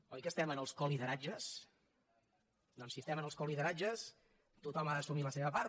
oi que estem en els colideratges doncs si estem en els colideratges tothom ha d’assumir la seva part